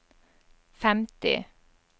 femti